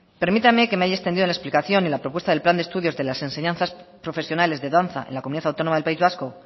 permítame que me haya extendido en la explicación y en la propuesta del plan de estudios de enseñanzas profesionales de danza en la comunidad autónoma del país vasco